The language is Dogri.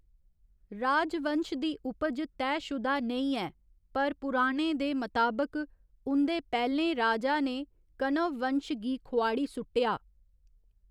राजवंश दी उपज तैह्शुदा नेई ऐ, पर पुराणें दे मताबक, उं'दे पैह्‌लें राजा ने कण्व वंश गी खोआड़ी सुट्टेआ।